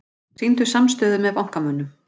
Sýndu samstöðu með bankamönnum